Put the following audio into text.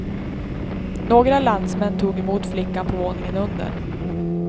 Några landsmän tog emot flickan på våningen under.